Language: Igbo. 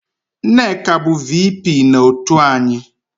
Nneka bụ VP na otu anyị